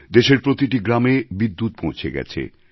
দেশের প্রতিটি গ্রামে বিদ্যুৎ পৌঁছে গেছে